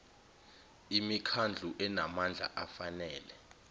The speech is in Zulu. imikhandlu enamandla afanele